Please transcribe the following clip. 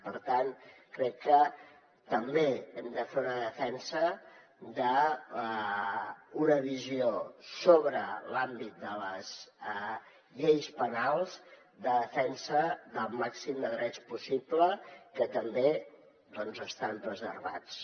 per tant crec que també hem de fer una defensa d’una visió sobre l’àmbit de les lleis penals de defensa del màxim de drets possible que també estan preservats